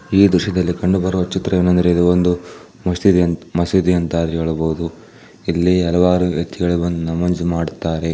ಈ ದೃಶ್ಯದಲ್ಲಿ ಕಂಡುಬರುವ ಚಿತ್ರೇನೆಂದರೆ ಮೋಸ್ಟ್ಲಿ ಇದು ಮಸೀದಿ ಅಂತ ಹೇಳಬಹುದು ಇಲ್ಲಿ ಹಲವಾರು ವ್ಯಕ್ತಿಗಳು ಬಂದು ನಮಾಜ್ ಮಾಡುತ್ತಾರೆ .